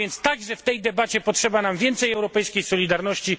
Także w tej debacie potrzeba nam więcej europejskiej solidarności.